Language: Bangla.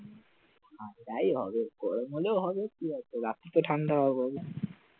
যাই হবে গরম হলেও হবে, কি আর করা ঠান্ডা হাওয়া বইবে